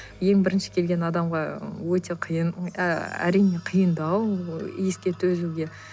ең бірінші келген адамға өте қиын әрине қиындау иіске төзуге